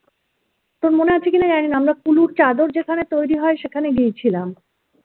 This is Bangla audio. তোর মনে আছে কিনা জানিনা আমরা কুলুর চাদর যেখানে তৈরি হয় সেখানে গিয়েছিলাম